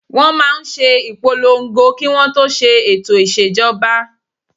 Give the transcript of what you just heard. Wọ́n máa n ṣe ìpolongo kí wọ́n tó ṣe ètò ìṣèjọba